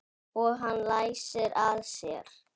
Og hann læsir að sér.